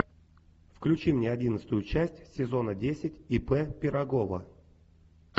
включи мне одиннадцатую часть сезона десять ип пирогова